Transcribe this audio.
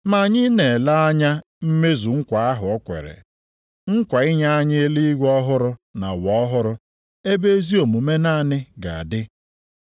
Ma anyị na-ele anya mmezu nkwa ahụ o kwere, nkwa inye anyị eluigwe ọhụrụ na ụwa ọhụrụ ebe ezi omume naanị ga-adị.